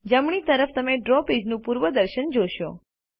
જમણી તરફ તમે ડ્રો પેજનું પૂર્વદર્શન જોશો